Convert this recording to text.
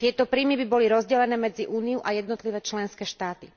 Tieto príjmy by boli rozdelené medzi Úniu a jednotlivé členské štáty.